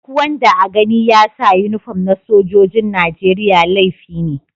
Duk wanda a gani ya sa uniform na sojoji'n Nijeriya laifi ne.